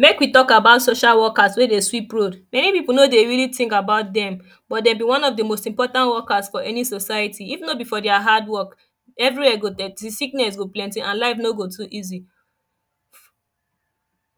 Make we talk about social workers wey dey sweep road. Many people no dey really think about them but dem be one of the most important workers for any society. If no be for their hard work every where go dirty sickness go plenty and life no go too easy.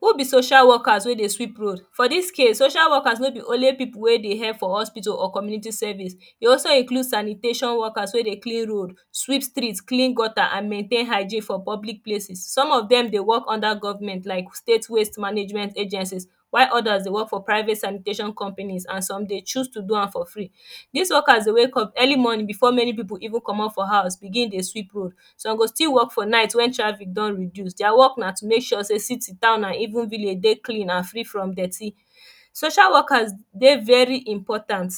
Who be social workers weydey sweep road for This case social workers no be only people weydey help for hospital or community service e also include sanitation workers weydey clean road sweep street clean gutter and maintain hygiene for public places some of them dey work under government like state waste management agencies while others dey work for private sanitation companies and some dey choose to do am for free. This workers dey wake up early morning before many people even comot for house begin dey sweep road Some go still work for night when traffic don reduce their work na to make sure say city town and even villages dey clean and free from dirty. Social workers dey very important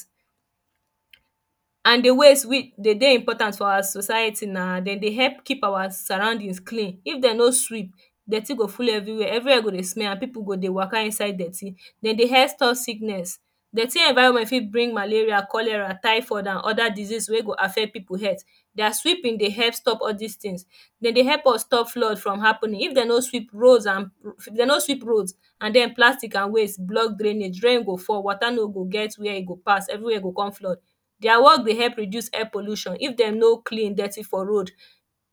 and the ways deydey important for our society nademdey help keep our surroundings clean. If dem no sweep dirty go full every where, everywhere go dey smell and people go deywaka inside dirty. Dem dey help stop sickness. Dirty environment fit bring malaria, cholera, typhoid and other disease wey go affect people health. Their sweeping dey help stop all this things. Dem dey help us stop flood from happening if dem no sweep roads and if dem no sweep roads and then plastic and waste block drainage, rain go fall water no go get where e go pass everywhere go come flood Their work dey help reduce air pollution if dem no clean dirty for road,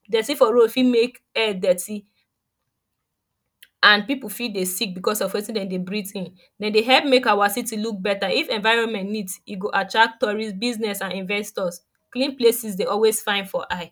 dirty for road fit make air dirty and people fit dey sick because of wetindemdey breathe in. Dem dey help make our city look better. If environment neat e go attract tourist business and investors Clean places dey always fine for eye